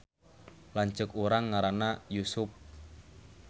Lanceuk urang ngaranna Yusup